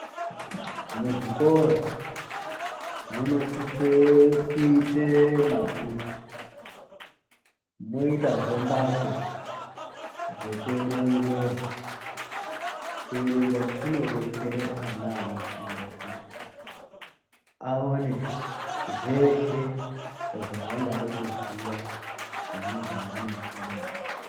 Muzvikora munosise kuite mabhuku, moitazve mbatso dzekuerengera. Kuerenga kunodetsere ana anofunda kuti aone zveshe zvaangade kuziya pane zvaanofunda.